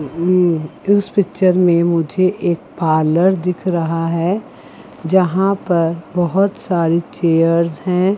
इस पिक्चर में मुझे एक पार्लर दिख रहा है। जहां पर बहोत सारी चेयर्स हैं।